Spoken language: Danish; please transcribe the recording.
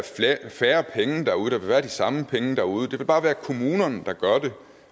færre penge derude der vil være de samme penge derude det vil bare være kommunerne der gør det